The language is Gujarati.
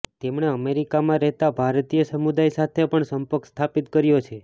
તેમણે અમેરિકામાં રહેતા ભારતીય સમુદાય સાથે પણ સંપર્ક સ્થાપિત કર્યો છે